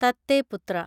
തത്തെ പുത്ര